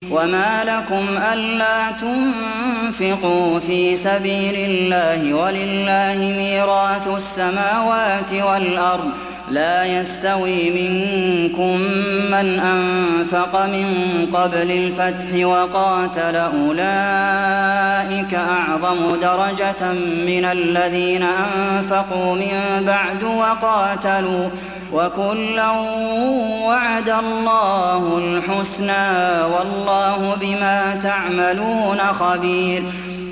وَمَا لَكُمْ أَلَّا تُنفِقُوا فِي سَبِيلِ اللَّهِ وَلِلَّهِ مِيرَاثُ السَّمَاوَاتِ وَالْأَرْضِ ۚ لَا يَسْتَوِي مِنكُم مَّنْ أَنفَقَ مِن قَبْلِ الْفَتْحِ وَقَاتَلَ ۚ أُولَٰئِكَ أَعْظَمُ دَرَجَةً مِّنَ الَّذِينَ أَنفَقُوا مِن بَعْدُ وَقَاتَلُوا ۚ وَكُلًّا وَعَدَ اللَّهُ الْحُسْنَىٰ ۚ وَاللَّهُ بِمَا تَعْمَلُونَ خَبِيرٌ